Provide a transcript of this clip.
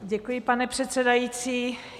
Děkuji, pane předsedající.